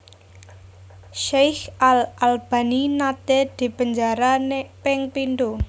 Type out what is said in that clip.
Syeikh al Albani nate dipenjara ping pindho